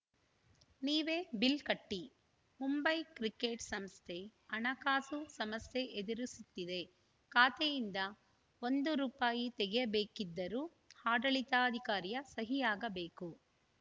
ನೀವೇ ಬಿಲ್‌ ಕಟ್ಟಿ ಮುಂಬೈ ಕ್ರಿಕೆಟ್‌ ಸಂಸ್ಥೆ ಹಣಕಾಸು ಸಮಸ್ಯೆ ಎದುರಿಸುತ್ತಿದೆ ಖಾತೆಯಿಂದ ಒಂದು ರುಪಾಯಿ ತೆಗೆಯಬೇಕಿದ್ದರೂ ಆಡಳಿತಾಧಿಕಾರಿಯ ಸಹಿಯಾಗಬೇಕು